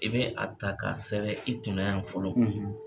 I bɛ a ta k'a sɛbɛ i kunna yan fɔlɔ